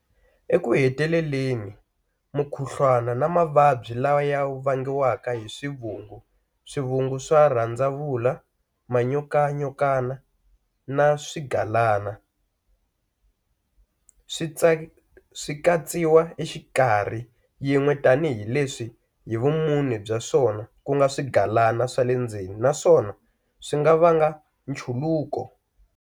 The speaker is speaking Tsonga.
Eku heteleleni, mukhuhlwana na mavabyi laya vangiwaka hi swivungu, swivungu swa rhandzavula, manyokanyokana na swigalana swi katsiwa exikarhi yin'we tanihi leswi hi vumune bya swona ku nga swigalana swa le ndzeni naswona swi nga vanga nchuluko.